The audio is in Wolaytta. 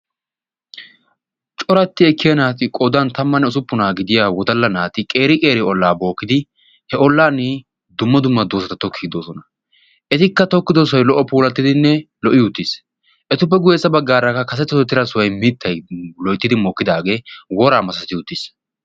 Coratti ekkiya naati qodan tammanne usuppunaa gidiya wodalla naati qeeri qeeri ollaa bookkidi he ollan dumma dumma doosata tokkiidi de'osoosona. Etikka tokkidi de'iyo sohoy lo'o pulattidinne lo'i uttiis. Etappe guyyessa baggaarakka kase tohettida sohoy mittay lo'yttidi mookkidaagee woraa masati uttiis.